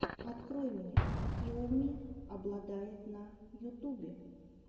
открой мне килл ми обладает на ютубе